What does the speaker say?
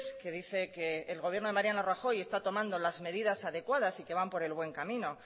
que dice que el gobierno de mariano rajoy está tomando las medidas adecuadas y que van por el buen camino